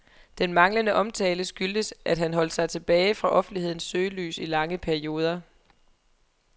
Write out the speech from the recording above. Den manglende omtale skyldtes, at han holdt sig tilbage fra offentlighedens søgelys i lange perioder.